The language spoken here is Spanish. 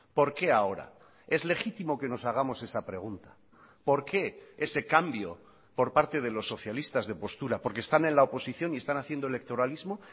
por qué ahora es legítimo que nos hagamos esa pregunta por qué ese cambio por parte de los socialistas de postura porque están en la oposición y están haciendo electoralismo